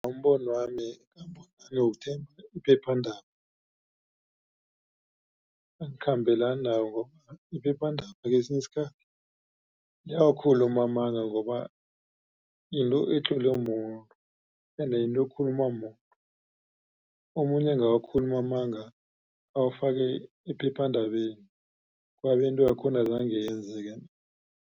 Ngombonwami nawuthenga iphephandaba angikhambelani nakho. Iphephandaba kesinye isikhathi iyawakhuluma amanga ngoba yinto etlolwe mumuntu ende yinto ekhuluma mumuntu. Omunye angawakhuluma amanga awafake ephephandabeni mara into yakhona azange iyenzeke.